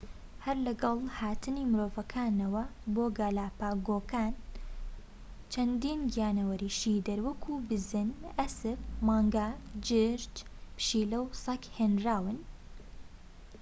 هەر لەگەڵ هاتنی مرۆڤەکانەوە بۆ گالاپاگۆکان چەندین گیانەوەری شیردەر وەک بزن ئەسپ مانگا جورج پشیلە و سەگ هێنراون